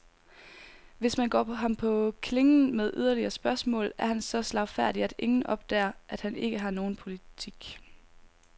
Hvis man går ham på klingen med yderligere spørgsmål, er han så slagfærdig, at ingen opdager, at han ikke har nogen politik.